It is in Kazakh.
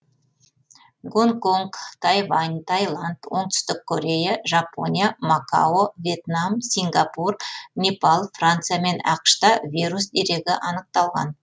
гонконг тайвань тайланд оңтүстік корея жапония макао вьетнам сингапур непал франция мен ақш та вирус дерегі анықталған